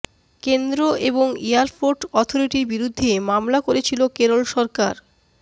কেন্দ্র এবং এয়ারপোর্ট অথরিটির বিরুদ্ধে মামলা করেছিল কেরল সরকার